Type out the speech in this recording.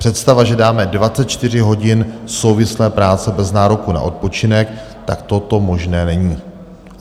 Představa, že dáme 24 hodin souvislé práce bez nároku na odpočinek, tak toto možné není.